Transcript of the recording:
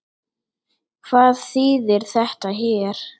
Hvað þýðir þetta hér?